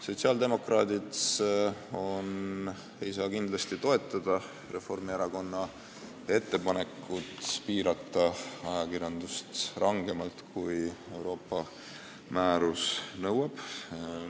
Sotsiaaldemokraadid ei saa kindlasti toetada Reformierakonna ettepanekut piirata ajakirjandust rangemalt, kui Euroopa määrus nõuab.